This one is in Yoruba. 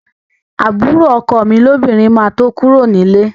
Àbúrò ọkọ mi lóbìnrin máa tó kúrò ní líle